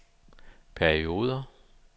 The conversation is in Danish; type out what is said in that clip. perioder